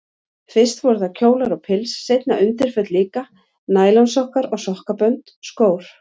Fyrst voru það kjólar og pils, seinna undirföt líka, nælonsokkar og sokkabönd, skór.